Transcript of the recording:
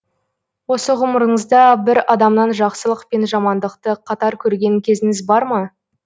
осы ғұмырыңызда бір адамнан жақсылық пен жамандықты қатар көрген кезіңіз бар ма